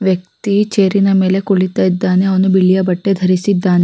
ಹಳ್ದಿ ಬಣ್ಣದ ಬಟ್ಟೆಯನ್ನು ಹಾಕಿದ್ದಾರೇ ಇಲ್ಲಿ ಒಬ್ಬ--